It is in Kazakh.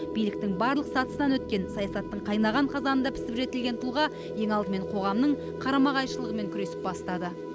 биліктің барлық сатысынан өткен саясаттың қайнаған қазанында пісіп жетілген тұлға ең алдымен қоғамның қарама қайшылығымен күресіп бастады